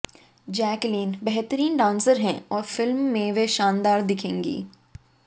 Jacqueline बेहतरीन dancer हैं और फिल्म में वे शानदार दिखेंगी